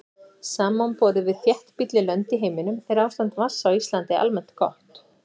Samanborið við þéttbýlli lönd í heiminum er ástand vatns á Íslandi almennt gott.